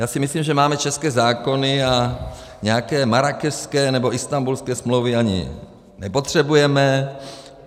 Já si myslím, že máme české zákony a nějaké Marrákešské nebo Istanbulské smlouvy ani nepotřebujeme.